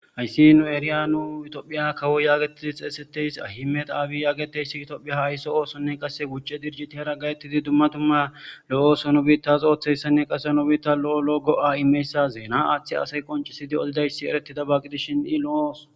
Hays nu eriyays tophiya akwo getetid xeysetiyays Ahmed abiy getetiyays Ethiopia ayso osonne qase wuc'e dirjitiyara gayetid dumma dumma lo'o oso nu bitas oothiyaysanne qase nu bitas lo'o lo'o go'a imiyayisa zena athiya asay qoncid odiyabay eretidaysa gidishn I lo'o oso...